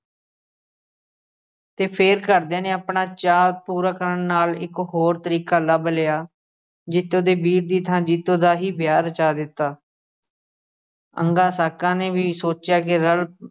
ਤੇ ਫਿਰ ਘਰਦਿਆਂ ਨੇ ਆਪਣਾ ਚਾਅ ਪੂਰਾ ਕਰਨ ਲਈ ਇੱਕ ਹੋਰ ਤਰੀਕਾ ਲੱਭ ਲਿਆ। ਜੀਤੋ ਦੇ ਵੀਰ ਦੀ ਥਾਂ ਜੀਤੋ ਦਾ ਹੀ ਵਿਆਹ ਰਚਾ ਦਿੱਤਾ ਅੰਗਾਂ ਸਾਕਾਂ ਨੇ ਵੀ ਸੋਚਿਆ ਕਿ ਰਲ